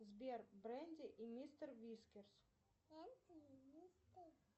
сбер бренди и мистер вискис